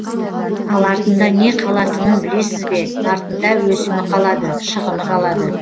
ал артында не қалатынын білесіз бе артында өсімі қалады шығыны қалады